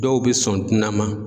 Dɔw bɛ sɔn tunan ma.